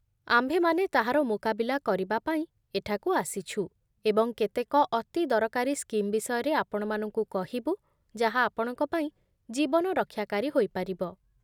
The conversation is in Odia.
ଆମ୍ଭେମାନେ ତାହାର ମୁକାବିଲା କରିବାପାଇଁ ଏଠାକୁ ଆସିଛୁ, ଏବଂ କେତେକ ଅତି ଦରକାରୀ ସ୍କିମ୍ ବିଷୟରେ ଆପଣମାନଙ୍କୁ କହିବୁ ଯାହା ଆପଣଙ୍କ ପାଇଁ ଜୀବନ ରକ୍ଷାକାରୀ ହୋଇପାରିବ